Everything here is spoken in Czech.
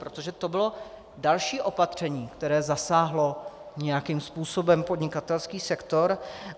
Protože to bylo další opatření, které zasáhlo nějakým způsobem podnikatelský sektor.